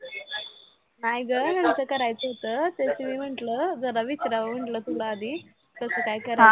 नाही गं ह्यांच करायचं होतं तेच मी म्हंटल जरा विचरावं म्हंटल तूला आधी कसं काय कराय